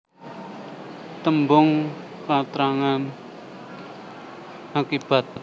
Tembung katrangan akibat